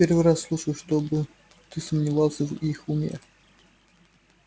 первый раз слышу чтобы ты сомневался в их уме